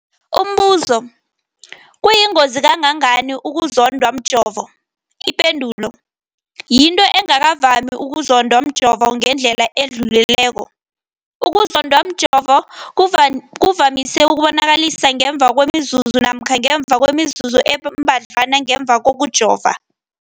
Umbuzo, kuyingozi kangangani ukuzondwa mjovo? Ipendulo, yinto engakavami ukuzondwa mjovo ngendlela edluleleko. Ukuzondwa mjovo kuvamise ukuzibonakalisa ngemva kwemizuzwana namkha ngemva kwemizuzu embadlwana ngemva kokujova.